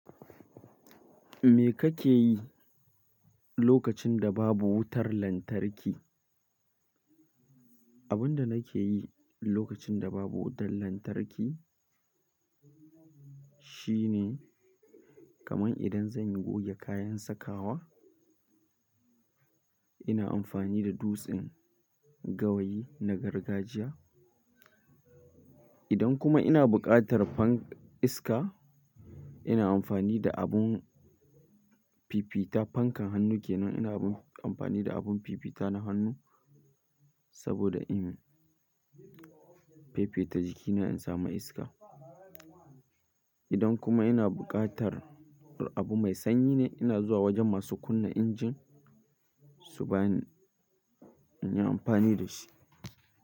Me kake yi lokacin da babu wutar lantarki? Abin da nake yi lokacin da babu wutar lantarki shine kaman idan zanyi goge kayan sakawa, ina amfani da dutsen gawayi na gargajiya. Idan kuma ina bukatar fanka iska, ina amfani da abun fifita fankan hannu kenan. Ina amfani da abun fifita na hannu saboda in fifita jikina in samu iska. Idan kuma ina bukatar abu mai sanyi ne, ina zuwa wajen masu kunna injin su bani inyi amfani da shi.